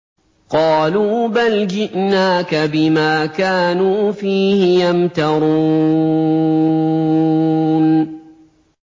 قَالُوا بَلْ جِئْنَاكَ بِمَا كَانُوا فِيهِ يَمْتَرُونَ